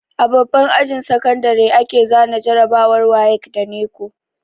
A babban ajin sakandare ake zana jarabawar wayek da neco